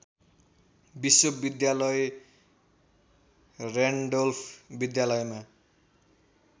विश्वविद्यालय र्‍यान्डोल्फ विद्यालयमा